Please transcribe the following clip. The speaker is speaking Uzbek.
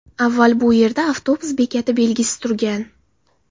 Avval bu yerda avtobus bekati belgisi turgan.